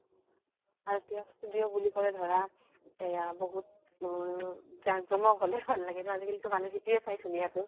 আৰু এতিয়া studio বুলি কলে ধৰা এয়া বহুত জাম জমক হলে ভাল লাগে ন । আজি কালিতো মানুহে সেইটোয়ে চাই ধুনীয়াতো।